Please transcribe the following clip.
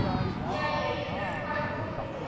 Jæja, ég þarf að fara að koma mér heim